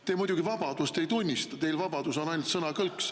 Te muidugi vabadust ei tunnista, teil on vabadus ainult sõnakõlks.